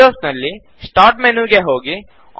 Windows ನಲ್ಲಿ start ಮೆನುಗೆ ಹೋಗಿ